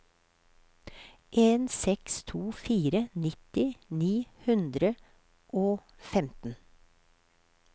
en seks to fire nitti ni hundre og femten